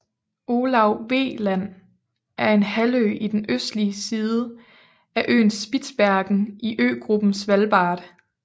Olav V Land er en halvø på den østlige side af øen Spitsbergen i øgruppen Svalbard